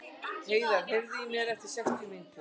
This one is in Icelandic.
Heiðar, heyrðu í mér eftir sextíu mínútur.